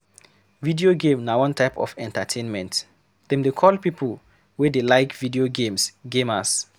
Video game na one type of entertainment, dem dey call people wey dey like video games gamers